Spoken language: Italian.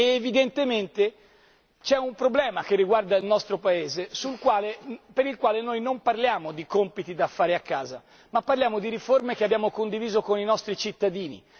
Evidentemente c'è un problema che riguarda il nostro Paese per il quale noi non parliamo di compiti da fare a casa, ma parliamo di riforme che abbiamo condiviso con i nostri cittadini.